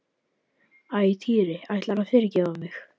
Æ, Týri ætlarðu að yfirgefa mig?